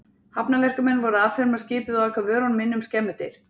Hafnarverkamenn voru að afferma skipið og aka vörunum inn um skemmudyr.